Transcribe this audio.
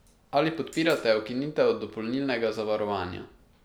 Ali podpirate ukinitev dopolnilnega zavarovanja?